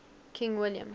king william